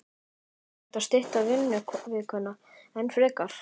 Er hægt að stytta vinnuvikuna enn frekar?